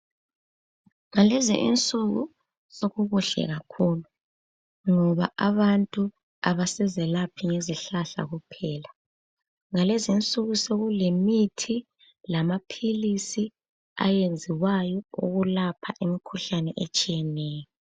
ngalezo insuku sokukuhle kakhulu ngoba abantu abasazalaphi ngezihlahla kuphela ngalezi insuku sokulemithi lamaphilizi ayenziwayo ukulapha imikhuhlane etshiyeneyo